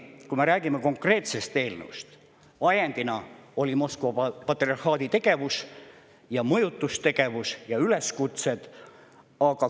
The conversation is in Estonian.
Kui me räägime konkreetsest eelnõust, siis ajendiks olid Moskva patriarhaadi tegevus, mõjutustegevus ja üleskutsed.